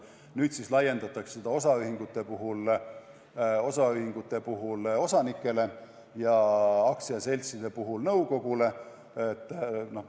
Nüüd laiendatakse seda osaühingute puhul osanikele ja aktsiaseltside puhul nõukogule.